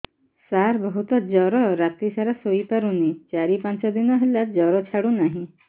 ସାର ବହୁତ ଜର ରାତି ସାରା ଶୋଇପାରୁନି ଚାରି ପାଞ୍ଚ ଦିନ ହେଲା ଜର ଛାଡ଼ୁ ନାହିଁ